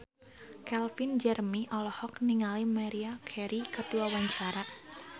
Calvin Jeremy olohok ningali Maria Carey keur diwawancara